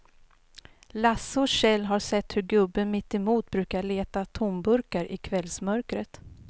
Lasse och Kjell har sett hur gubben mittemot brukar leta tomburkar i kvällsmörkret.